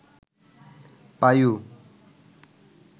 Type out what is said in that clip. পায়ু